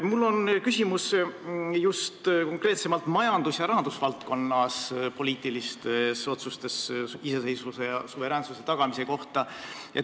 Mul on küsimus konkreetsemalt majandus- ja rahandusvaldkonnas poliitiliste otsustega iseseisvuse ja suveräänsuse tagamise kohta.